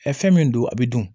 fɛn min don a bɛ dun